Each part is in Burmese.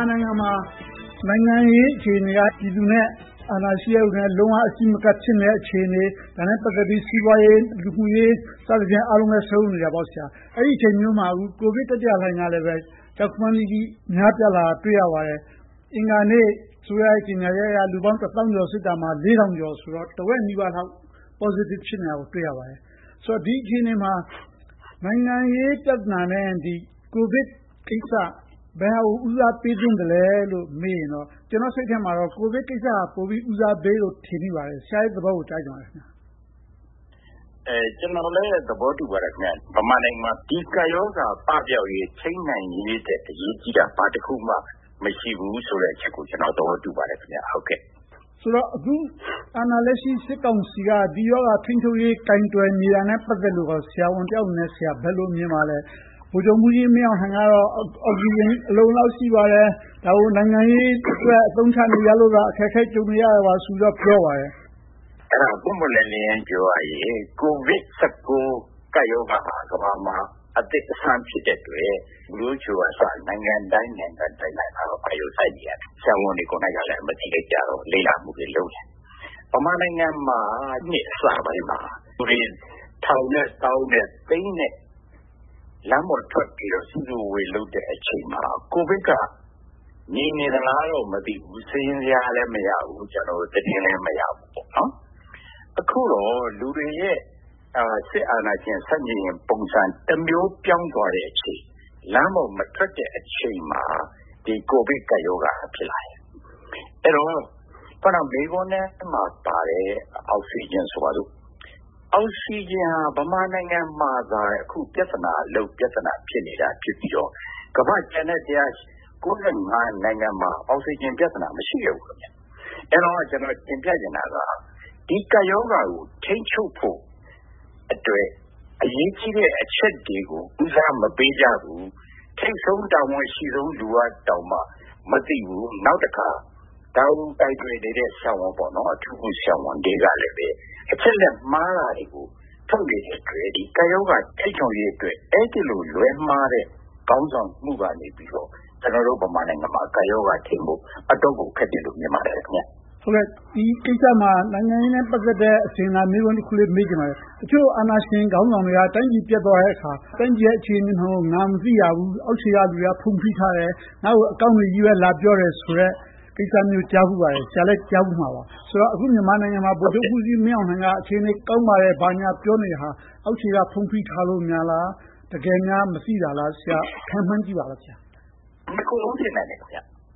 ာနိုင်ငံမှာ နိုင်ငံရေးအခြေအနေက ပြည်သူနဲ့ အာဏာရှိသူတွေ လုံးဝအစီးမကပ်တဲ့ အခြေအနေ။ ဒါနဲ့ပတ်သက်ပြီး စီးပွားရေး၊ လူမှုရေး အားလုံးလည်း စုံနေတာပေါ့။ အဲဒီအချိန်မျိုးမှာ ကိုဗစ်တတိယလှိုင်းကလည်း ကြောက်ခမန်းလိလိ များပြားလာတာကို တွေ့ရပါတယ်။ အင်္ဂါနေ့ စစ်အစိုးရရဲ့ ကြေညာချက်အရ လူပေါင်းတစ်သောင်းကျော်စစ်တာ လေးထောင်ကျော်ဆိုတော့ တဝက်နီးပါးလောက် positive ဖြစ်နေတာကို တွေ့ရပါတယ်။ ဆိုတော့ ဒီအခြေအနေမှာ နိုင်ငံရေးပြဿနာနဲ့ ကိုဗစ်ကိစ္စ ဘယ်ဟာကို ဦးစားပေးသင့်သလဲလို့ မေးရင်တော့ ကျနော့်စိတ်ထဲမှာတော့ ကိုဗစ်ကိစ္စကိုတော့ ဦးစားပေးသင့်တယ်လို့ ထင်မိပါတယ်။ ဆရာ့ရဲ့သဘောကို ကြားချင်ပါတယ်။ ကျနော်လည်း သဘောတူပါတယ်။ မြန်မာနိုင်ငံမှာ ဒီကပ်ရောဂါ ပပျောက်ရေး၊ ထိန်းနိုင်ရေးအတွက် အရေးကြီးတာ ဘာတခုမှ မရှိပါဘူးဆိုတဲ့အချက်ကို ကျနော် သဘောတူပါတယ်။ ဆိုတော့ အခုလက်ရှိ အာဏာလက်ရှိ စစ်ကောင်စီက ရောဂါထိန်းချုပ်ရေး ကာကွယ်နေတာနဲ့ ပတ်သက်ပြီးတော့ ဆရာဝန်တယောက်အနေနဲ့ ဘယ်လိုမြင်ပါသလဲ။ ဗိုလ်ချုပ်မှူးကြီးမင်းအောင်လှိုင်ကတော့ အောက်စီဂျင် အလုံအလောက် ရှိပါတယ်။ ဒါကို နိုင်ငံရေးအတွက် အသုံးချနေကြလို့ အခက်အခဲ ကြုံနေရပါတယ်ဆိုပြီးတော့ ပြောပါတယ်။ အဲဒါကို ပွင့်ပွင့်လင်းလင်း ပြောရရင် ကိုဗစ်-၁၉ ကပ်ရောဂါဟာ ကမ္ဘာမှာ အသစ်အဆန်းဖြစ်တဲ့အတွက် WHO ကအစ နိုင်ငံတိုင်းနိုင်ငံတိုင်းက ဒါကိုအာရုံစိုက်နေကြတယ်။ ဆရာဝန်တွေကိုယ်တိုင် မသိကြတော့ လေ့လာမှုတွေ လုပ်ကြတယ်။ ဗမာနိုင်ငံမှာ နှစ်အစပိုင်းမှာ ထောင်နဲ့သောင်းနဲ့သိန်းနဲ့ လမ်းပေါ်ထွက်ပြီးတော့ စုစုဝေးဝေး လုပ်တဲ့အချိန်မှာ ကိုဗစ်က ငြိမ်နေသလားတော့ မသိဘူး။ စာရင်းဇယားလည်း မရဘူး၊ သတင်းလည်း မရဘူး။ အခုတော့ လူတွေရဲ့ စစ်အာဏာရှင်ဆန့်ကျင်ရေး ပုံစံတမျိုး ပြောင်းသွားတဲ့အချိန်။ လမ်းပေါ်မထွက်တဲ့အချိန်မှာ ဒီကိုဗစ်ကပ်ရောဂါက ဖြစ်လာတယ်။ အဲဒီတော့ အခုန မေးခွန်းထဲမှာပါတဲ့ အောက်ဆီဂျင်ဆိုပါစို့။ အောက်ဆီဂျင်က ဗမာနိုင်ငံမှာသာ ပြဿနာလုပ်၊ ပြဿနာဖြစ်နေပြီးတော့ ကမ္ဘာ့ကျန်တဲ့ ၁၉၅ နိုင်ငံမှာ အောက်ဆီဂျင်ပြဿနာ မရှိခဲ့ဘူး။ အဲဒီတော့ ကျနော် တင်ပြချင်တာက ဒီကပ်ရောဂါကို ထိန်းချုပ်ဖို့အတွက် အရေးကြီးတဲ့အချက်တွေကို ဦးစားမပေးကြဘူး။ ထိပ်ဆုံးတာဝန် အရှိဆုံးလူကတောင်မှ မသိဘူး။ နောက်တခါ ဒါကိုကိုင်တွယ်နေတဲ့ အထူးကုဆရာဝန်တွေကလဲ အချက်အလက်မှားနေတာကို ထုတ်နေတဲ့အတွက် ကပ်ရောဂါထိန်းချုပ်ရေးအတွက် အဲဒီလိုလွဲမှားတဲ့အတွက် ခေါင်းဆောင်မှုကနေ ကျနော်တို့ မြန်မာနိုင်ငံက ကပ်ရောဂါထိန်းဖို့အတွက် အတော့်ကိုခက်တယ်လို့ မြင်ပါတယ်။ ဒီကိစ္စမှာ နိုင်ငံရေးနဲ့ ပတ်သက်တဲ့ အစဉ်အလာမေးခွန်းလေးတခု မေးချင်ပါတယ်။ တချို့အာဏာရှင်ခေါင်းဆောင်တွေက တိုင်းပြည်ပျက်သွားတဲ့အခါ၊ တိုင်းပြည်ရဲ့ အခြေအနေမှန်ကို ငါမသိရဘူး။ အောက်ခြေကလူတွေက ဖုံးဖိထားတယ်။ ငါ့ကို အကောင်းတွေကြီးပဲ လာပြောတယ်ဆိုတဲ့ ကိစ္စမျိုး ကြားဖူးပါတယ်။ ဆရာလည်း ကြားဖူးမှာပါ။ အခု မြန်မာပြည်မှာ ဗိုလ်ချုပ်မှူးကြီးမင်းအောင်လှိုင်က အခြေအနေကောင်းပါတယ်။ ဘာညာပြောနေတာ အောက်ခြေက ဖုံးဖိထားလို့များလား။ တကယ်ပဲ မသိတာလား။ ဆရာခန့်မှန်းကြည့်ပါ။ နှစ်ခုစလုံး ဖြစ်နိုင်တယ်။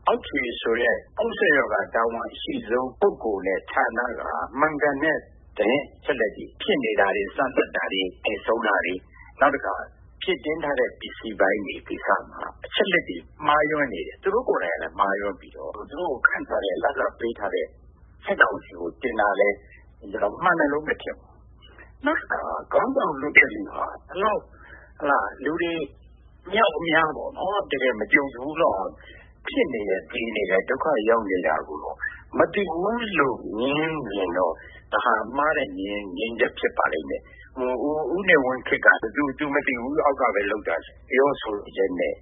အောက်ခြေဆိုတဲ့ တာဝန်အရှိဆုံး ပုဂ္ဂိုလ်နဲ့ဌာနတွေက မှန်ကန်တဲ့ သတင်းအချက်အလက်တွေ ဖြစ်နေတာတွေ၊ စမ်းသပ်တာတွေ၊ သေဆုံးတာတွေ။ နောက်တခါ ဖြည့်ထားတဲ့ ပစ္စည်းပိုင်းတွေမှာ အချက်အလက်တွေ မှားယွင်းနေတယ်။ သူတို့ကိုယ်တိုင်ကလဲ မှားယွင်းပြီးတော့ သူတို့ခန့်ထားတဲ့၊ လစာပေးထားတဲ့ စစ်ကောင်စီကို တင်တာလဲ၊ မှန်တယ်လို့ မထင်ဘူး။ နောက်တခါ ခေါင်းဆောင်လုပ်တဲ့လူဟာ ဒီလောက်လူတွေ အမြောက်အမြား မကြံစဖူးလောက် ဖြစ်နေတယ်၊ သေနေတယ်၊ ဒုက္ခရောက်နေတာကို မသိဘူးလို့ ငြင်းတယ်ဆိုရင်တော့ ဒါဟာမှားတဲ့ ငြင်းဆိုချက် ဖြစ်ပါလိမ့်မယ်။ ဦးနေဝင်းခေတ်က သူမသိဘူး၊ အောက်ကပဲလုပ်တာဆိုတဲ့ ပြောဆိုချက်နဲ့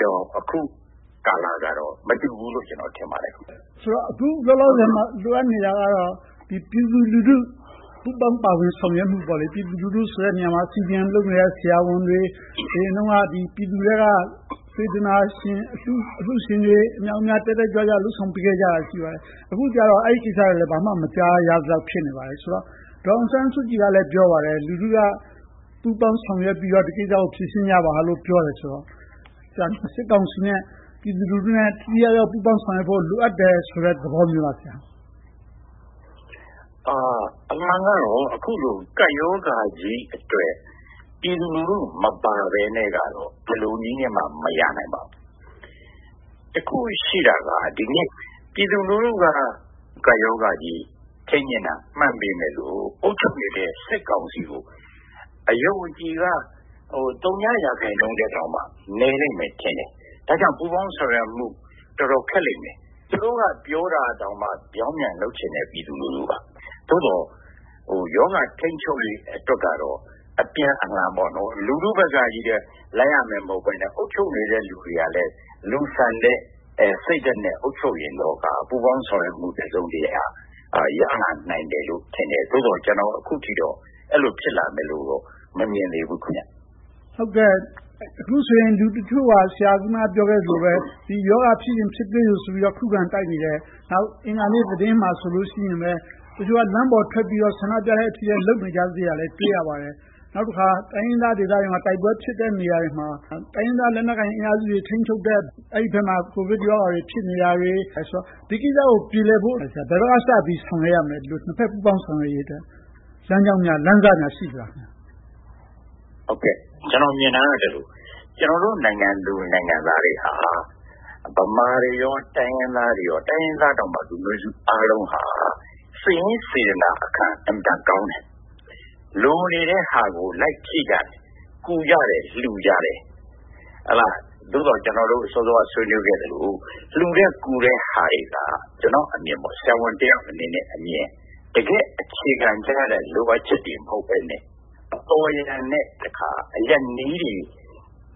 တော့ အခုကာလကတော့ မတူဘူးလို့ ကျနော်ထင်ပါတယ်။ ဆိုတော့ အခုလောလောဆယ်မှာ လိုအပ်နေတာကတော့ ပြည်သူလူထု ပူးပေါင်းဆောင်ရွက်မှု။ ပြည်သူလူထုဆိုတဲ့နေရာမှာ CDM လုပ်နေတဲ့ ဆရာဝန်တွေ၊ အရင်တုန်းက ပြည်သူထဲက စေတနာရှင်၊ အလှူရှင်တွေ တက်တက်ကြွကြွ ထောက်ပံ့ပေးခဲ့ကြတာ ရှိပါတယ်။ အခုကြတော့ အဲဒီကိစ္စတွေလဲ မကြားရသလောက် ဖြစ်နေပါတယ်။ ဒေါ်အောင်ဆန်းစုကြည်ကလဲ ပြောပါတယ်။ လူထုက ပူးပေါင်းဆောင်ရွက်ပြီးတော့ ဒီကိစ္စကို ဖြေရှင်းကြပါလို့ပြောတယ်ဆိုတော့ ဒါကို စစ်ကောင်စီနဲ့ ပြည်သူလူထုတို့ ထိထိရောက်ရောက် ပူးပေါင်းဆောင်ရွက်ဖို့ လိုအပ်တယ်ဆိုတဲ့ သဘောမျိုးလား။ အမှန်ကတော့ အခုလို ကပ်ရောဂါကြီးအတွက် ပြည်သူလူထုမပါဘဲနဲ့တော့ ဘယ်လိုနည်းနဲ့မှ မရနိုင်ပါဘူး။ တခုရှိတာက ဒီနေ့ ပြည်သူလူထုက ကပ်ရောဂါကြီးကို ထိန်းချင်တာ မှန်ပေမယ့်လို့ အုပ်ချုပ်နေတဲ့ စစ်ကောင်စီကို အယုံအကြည်က သုညရာခိုင်နှုန်းထက်တောင် နည်းလိမ့်မယ်ထင်တယ်။ ဒါကြောင့် ပူးပေါင်းဆောင်ရွက်မှု တော်တော်ခက်လိမ့်မယ်။ သူတို့က ပြောတာတောင်မှ ပြောင်ပြန်လုပ်ချင်တဲ့ ပြည်သူလူထု။ သို့သော် ရောဂါထိန်းချုပ်ရေးအတွက်တော့ အပြန်အလှန်ပေါ့။ လူထုဘက်ကပဲ လိုက်ရမှာ မဟုတ်ဘဲနဲ့၊ အုပ်ချုပ်သူတွေကလဲ လူဆန်တဲ့စိတ်နဲ့ အုပ်ချုပ်ရင်တော့ ပူးပေါင်းဆောင်ရွက်မှု တစုံတရာ ရနိုင်တယ်လို့ ကျနော်ထင်တယ်။ သို့သော် အခုထိတော့ အဲဒီလို ဖြစ်လာနိုင်မယ်လို့တော့ မမြင်သေးဘူး။ အခုဆိုရင် လူတချို့က ဆရာ အခုနပြောခဲ့သလိုပဲ ဒီရောဂါ ဖြစ်ရင်ဖြစ်ပါစေဆိုပြီး ခုခံတိုက်နေတယ်။ နောက်အင်္ဂါနေ့သတင်းမှာပဲ တချို့က လမ်းပေါ်ထွက်ပြီးတော့ ဆန္ဒပြနေတာတွေ ရှိနေသေးတာကိုလဲ တွေ့ရပါသေးတယ်။ နောက်တခါ တိုင်းရင်းသားဒေသတွေမှာ တိုက်ပွဲဖြစ်တဲ့နေရာတွေမှာ တိုင်းရင်းသားလက်နက်ကိုင်တွေ ထိန်းချုပ်တဲ့ဘက်မှာ ကိုဗစ်ရောဂါတွေ ဖြစ်နေတာတွေကို တွေ့ရတော့ ဒီကိစ္စတွေကို ပြေလည်ဖို့အတွက် ဘယ်ဘက်ကစပြီး ဆောင်ရွက်ရမလဲ။ နှစ်ဘက်ပူးပေါင်းဆောင်ရွက်ရေးအတွက် လမ်းကြောင်းလမ်းစများ ရှိပါသလား။ ကျနော်မြင်တာက ကျနော်တို့ နိုင်ငံသူနိုင်ငံသားတွေ ဗမာတွေ၊ တိုင်းရင်းသားတွေ၊ လူမျိုးစုအားလုံးဟာ စိတ်ရင်းစေတနာအခံ အင်မတန်ကောင်းတယ်။ လိုနေတဲ့ဟာကို လိုက်ဖြည့်ကြတယ်။ ကူကြတယ်။ လှူကြတယ်။ သို့သော် ကျနော်တို့ စောစောက ဆွေးနွေးကြသလို၊ လှူတဲ့ကူတဲ့ဟာတွေက ကျနော့်အမြင်၊ ဆရာဝန်တယောက်အနေနဲ့အမြင် တကယ့်အခြေခံကျတဲ့ လိုအပ်ချက်တွေ မဟုတ်ဘဲနဲ့ အပေါ်ယံနဲ့ အရပ်နည်းတွေ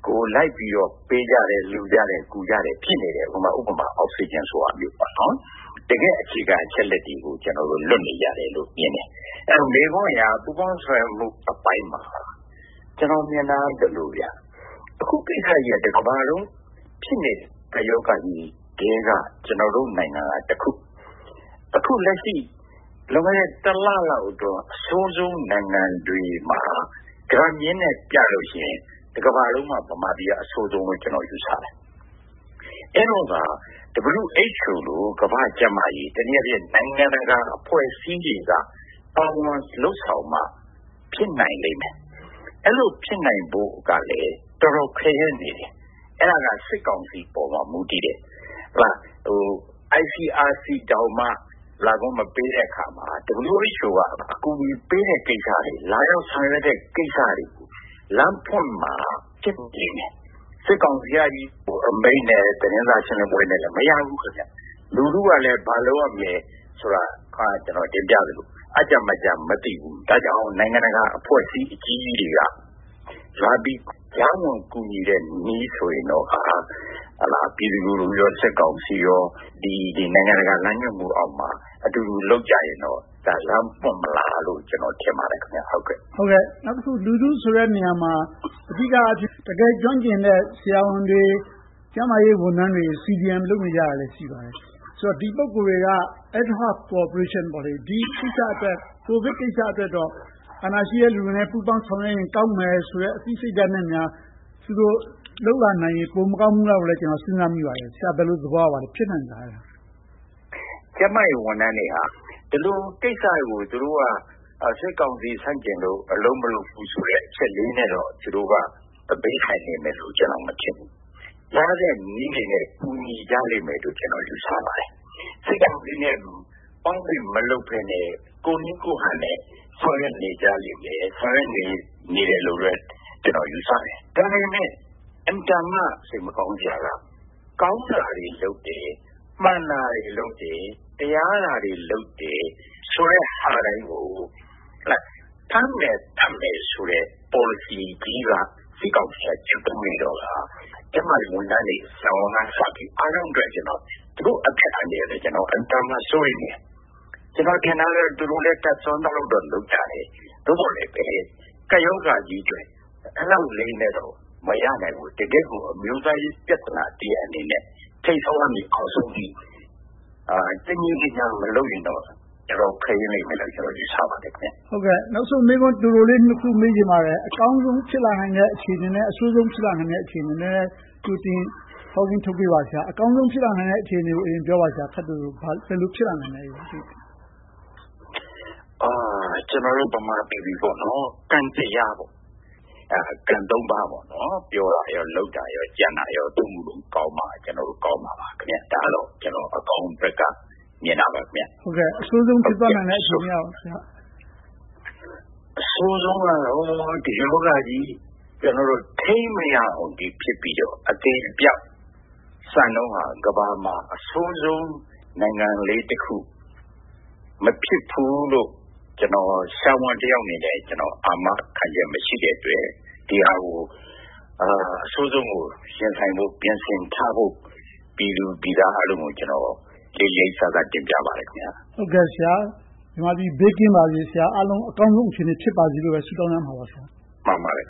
ကို လိုက်ပြီးတော့ ပေးကြတယ်၊ ကူကြတယ်၊ လှူကြတယ် ဖြစ်နေတယ်။ ဥပမာ အောက်ဆီဂျင်ဆိုတဲ့ဟာ။ တကယ့်အခြေခံ အချက်တွေကို လွတ်နေကြတယ်လို့ မြင်တယ်။ မေးခွန်းအရ ပူးပေါင်းဆောင်ရွက်မှုအပိုင်းမှာ ကျနော်မြင်တာက ဒီလို - အခုဖြစ်နေတဲ့ ကိစ္စကြီးက တကမ္ဘာလုံး ဖြစ်နေတဲ့ ကပ်ရောဂါကြီးထဲက ကျနော်တို့နိုင်ငံကတခု။ အခုလက်ရှိ လွန်ခဲ့တဲ့ တလလောက်အထိ အဆိုးဆုံးနိုင်ငံတွေမှာ ဂရပ်မျဉ်းနဲ့ပြမယ်ဆိုရင် တကမ္ဘာလုံးမှာ ဗမာပြည်က အဆိုးဆုံးလို့ ကျနော်ယူဆတယ်။ အဲဒီအချိန်မှာ WHO လို ကမ္ဘာ့ကျန်းမာရေး၊ တနည်းအားဖြင့် နိုင်ငံတကာအဖွဲ့အစည်းတွေက ပါဝင်လုပ်ဆောင်မှ ဖြစ်နိုင်လိမ့်မယ်။ အဲဒီလိုဖြစ်နိုင်ဖို့ကလဲ တော်တော်ခဲ့ယဉ်းနေတယ်။ အဲဒါက စစ်ကောင်စီပေါ်မှာ မူတည်နေတယ်။ ICRC တောင်မှ လာခွင့်မပေးတဲ့အခါမှာ WHO က အကူအညီပေးတဲ့ကိစ္စတွေ၊ လာရောက်ဆောင်ရွက်တဲ့ ကိစ္စတွေကို လမ်းဖွင့်ပေးမှ ဖြစ်မယ်။ စစ်ကောင်စီအမိန့်နဲ့ သတင်းစာရှင်းလင်းပွဲနဲ့ မရဘူး။ လူထုက ဘာလုပ်ရမလဲဆိုတာကို ကျနော် အခုနတင်ပြသလို အပ်ကျမတ်ကျ မသိဘူး။ ဒါကြောင့် နိုင်ငံတကာအဖွဲ့အစည်း အကြီးကြီးတွေက လာပြီးကြားဝင်ကူညီတဲ့နည်းဆိုရင်တော့ ပြည်သူလူထုနဲ့ စစ်ကောင်စီတို့ နိုင်ငံတကာလမ်းညွှန်မှုအောက်မှာ အတူတူလုပ်ကြရင်တော့ လမ်းပွင့်မလားလို့ ကျနော်ထင်ပါတယ်။ နောက်တခု လူထုဆိုတဲ့နေရာမှာ အဓိကအားဖြင့် တကယ်ကျွမ်းကျင်တဲ့ ဆရာဝန်တွေ၊ ကျန်းမာရေးဝန်ထမ်းတွေ CDM လုပ်နေကြတာလဲ ရှိပါတယ်။ ဆိုတော့ ဒီပုဂ္ဂိုလ်တွေက Ad-hoc Cooperation ကိုဗစ်ကိစ္စအတွက်တော့ အာဏာရှိတဲ့လူတွေနဲ့ ပူးပေါင်းဆောင်ရွက်ရင် ကောင်းမယ်ဆိုတဲ့ အသိစိတ်ဓါတ်နဲ့ လုပ်လာနိုင်ရင် ပိုမကောင်းဘူးလားလို့ ကျနော် စဉ်းစားမိပါတယ်။ ဆရာ ဘယ်လိုသဘောရပါသလဲ။ ဖြစ်နိုင်ပါသလား။ ကျန်းမာရေးဝန်ထမ်းတွေက ဒီလိုကိစ္စတွေကို သူတို့က စစ်ကောင်စီဆန့်ကျင်လို့ အလုပ်မလုပ်ဘူးဆိုတဲ့ အချက်ကလေးနဲ့တော့ သူတို့က ဘေးထိုင်နေမယ်လို့တော့ ကျနော် မထင်ဘူး။ ရတဲ့နည်းတွေနဲ့ ကူညီကြလိမ့်မယ်လို့ ကျနော်ယူဆပါတယ်။ စစ်ကောင်စီနဲ့ပေါင်းပြီး မလုပ်ဘဲနဲ့ ကိုယ့်နည်းကိုယ့်ဟန်နဲ့ ဆောင်ရွက်နေကြလိမ့်မယ်၊ ဆောင်ရွက်နေကြတယ်လို့လဲ ကျနော် ယူဆတယ်။ ဒါပေမဲ့ အင်မတန်မှ စိတ်မကောင်းစရာက ကောင်းတာတွေလုပ်တယ်။ မှန်တာတွေလုပ်တယ်။ တရားတာတွေ လုပ်တယ်ဆိုတဲ့ဟာတိုင်းကို ဖမ်းမယ်၊ သတ်မယ်ဆိုတဲ့ ပေါ်လစီကြီးကို စစ်ကောင်စီက ကျင့်သုံးနေတော့ကာ ကျန်းမာရေးဝန်ထမ်းတွေ ဆရာဝန်ကအစ အားလုံးရဲ့ အသက်အန္တရာယ်လဲ ကျနော် အင်မတန်မှလဲ စိုးရိမ်တယ်။ ကျနော်ထင်တာကတော့ သူတို့တွေလဲ တတ်စွမ်းသလောက်တော့ လုပ်နေကြတယ်။ သို့သော်လဲ ကပ်ရောဂါကြီးအတွက် အဲဒီလောက်နဲ့ မရနိုင်ဘူး။ တကယ့်ကို အမျိုးသားရေး ပြဿနာတရပ်အနေနဲ့ ထိပ်ဆုံးကနေ အောက်ဆုံးအထိ တညီတညာ မလုပ်ရင်တော့ အတော်ခဲယဉ်းလိမ့်မယ်လို့ ကျနော် ယူဆပါတယ်။ နောက်ဆုံးမေးခွန်းတိုတိုလေး နှစ်ခု မေးချင်ပါတယ်။ အကောင်းဆုံး ဖြစ်လာနိုင်တဲ့ အခြေအနေနဲ့ အဆိုးဆုံးဖြစ်လာနိုင်တဲ့ အခြေအနေတွေကို ကြိုတင်ဟောကိန်းထုတ်ပေးပါ။ အကောင်းဆုံး ဖြစ်လာနိုင်တဲ့ အခြေအနေကို ခပ်တိုတို ပြောပါ။ ဘယ်လိုဖြစ်လာနိုင်သလဲ။ ကျနော်တို့ ဗမာပီပီ ကံတရား၊ ကံသုံးပါး ပြောတာ၊ လုပ်တာ၊ ကြံတာ အဲဒီသုံးခုလုံးကောင်းမှ ကောင်းမှာပါ။ ဒါကတော့ ကျနော် အကောင်းဘက်က မြင်တာပါ။ အဆိုးဆုံးဖြစ်သွားနိုင်တဲ့ အခြေအနေက ဘာလဲ။ အဆိုးဆုံးကတော့ ဒီရောဂါကြီး ထိန်းမရအောင် ဖြစ်ပြီးတော့ အသေအပျောက် စံနှုန်းက ကမ္ဘာပေါ်မှာ အဆိုးဆုံးနိုင်ငံလေးတခု မဖြစ်ဘူးလို့ ကျနော် ဆရာဝန်တယောက်အနေနဲ့ အာမခံချက် မရှိတဲ့အတွက် အဆိုးဆုံးကို ရင်ဆိုင်ဖို့ ပြင်ဆင်ထားဖို့ ပြည်သူပြည်သားအားလုံးကို လေးလေးစားစား တင်ပြပါတယ်။ မြန်မာပြည် ဘေးကင်းပါစေ၊ အကောင်းဆုံး အခြေအနေ ဖြစ်ပါစေလို့ ဆုတောင်းရမှာပေါ့။ မှန်ပါတယ်